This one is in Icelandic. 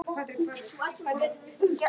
En við skiptum um skoðun.